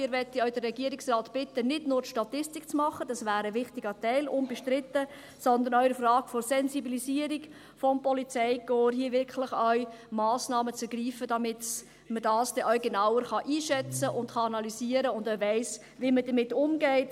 Wir möchten den Regierungsrat auch bitten, nicht nur die Statistik zu machen – unbestritten wäre das ein wichtiger Teil –, sondern auch in der Frage der Sensibilisierung des Polizeikorps wirklich auch Massnahmen zu ergreifen, damit man das genauer einschätzen und analysieren kann und weiss, wie man damit umgeht.